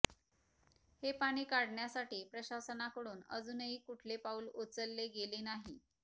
हे पाणी काढण्यासाठी प्रशासनाकडून अजूनही कुठले पाऊल उचलले गेले नाही